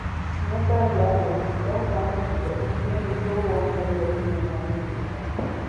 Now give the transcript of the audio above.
Nyua cai wa mũbuto wa mũbuto ũcio nĩguo wongerere hinya wa mwĩrĩ waku.